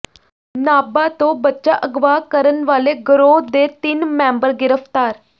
ਨਾਭਾ ਤੋਂ ਬੱਚਾ ਅਗਵਾ ਕਰਨ ਵਾਲੇ ਗਰੋਹ ਦੇ ਤਿੰਨ ਮੈਂਬਰ ਗ੍ਰਿਫ਼ਤਾਰ